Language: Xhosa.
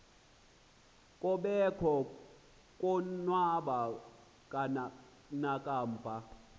kobekho konwaba nakamva